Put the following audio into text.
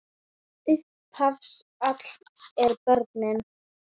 Upphaf alls eru börnin.